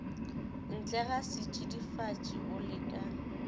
ntlega setšidifatši o le ka